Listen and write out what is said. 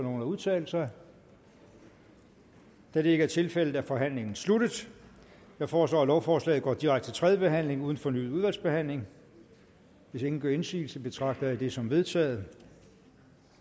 nogen at udtale sig da det ikke er tilfældet er forhandlingen sluttet jeg foreslår at lovforslaget går direkte til tredje behandling uden fornyet udvalgsbehandling hvis ingen gør indsigelse betragter jeg det som vedtaget